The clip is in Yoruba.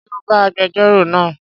Ṣé o bá agbẹjórò náà?